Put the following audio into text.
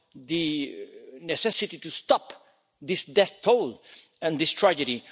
the necessity to stop this death toll and this tragedy.